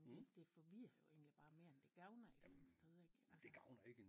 Jamen det det forvirrer jo egentlig bare mere end det gavner et eller andet sted ik altså